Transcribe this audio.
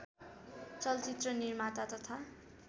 चलचित्र निर्माता तथा